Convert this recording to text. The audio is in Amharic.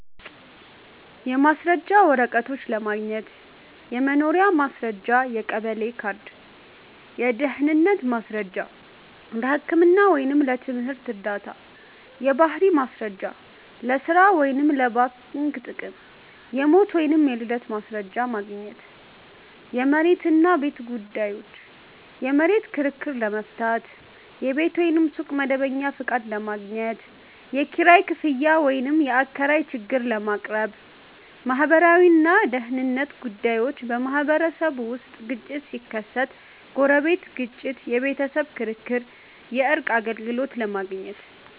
1. የማስረጃ ወረቀቶች ለማግኘት · የመኖሪያ ማስረጃ (የቀበሌ ካርድ) · የድህነት ማስረጃ (ለህክምና ወይም ለትምህርት ዕርዳታ) · የባህሪ ማስረጃ (ለሥራ ወይም ለባንክ ጥቅም) · የሞት ወይም የልደት ማስረጃ ማግኘት 2. የመሬት እና ቤት ጉዳዮች · የመሬት ክርክር ለመፍታት · የቤት ወይም ሱቅ መደበኛ ፈቃድ ለማግኘት · የኪራይ ክፍያ ወይም የአከራይ ችግር ለማቅረብ 3. ማህበራዊ እና ደህንነት ጉዳዮች · በማህበረሰብ ውስጥ ግጭት ሲከሰት (ጎረቤት ግጭት፣ የቤተሰብ ክርክር) የእርቅ አገልግሎት ለማግኘት